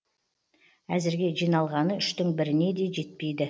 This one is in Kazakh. әзірге жиналғаны үштің біріне де жетпейді